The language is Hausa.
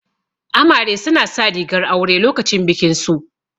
Amare su na sa rigar aure lokacin bikin su